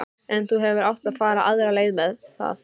En þú hefðir átt að fara aðra leið að mér.